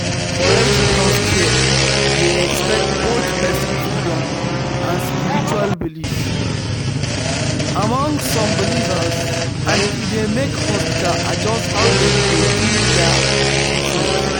correct healthcare dey respect both person freedom and spiritual belief among some believers and e dey make hospitals adjust how dem dey do their treatment